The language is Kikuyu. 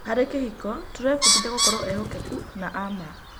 Harĩ kĩhiko, tũrebundithia gũkorwo ehokeku na a ma.